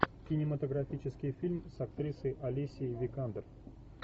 кинематографический фильм с актрисой алисией викандер